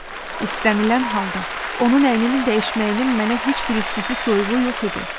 İstənilən halda, onun əynini dəyişməyinin mənə heç bir istisi soyuğu yox idi.